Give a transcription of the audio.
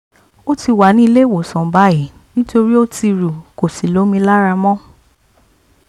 ó ti wà ní ilé ìwòsàn báyìí nítorí ó ti rú kò sí lómi lára mọ́